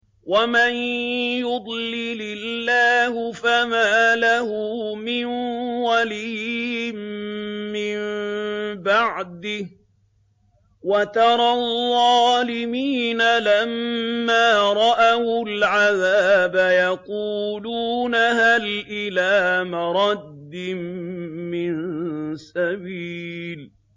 وَمَن يُضْلِلِ اللَّهُ فَمَا لَهُ مِن وَلِيٍّ مِّن بَعْدِهِ ۗ وَتَرَى الظَّالِمِينَ لَمَّا رَأَوُا الْعَذَابَ يَقُولُونَ هَلْ إِلَىٰ مَرَدٍّ مِّن سَبِيلٍ